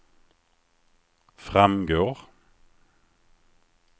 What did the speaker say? framgår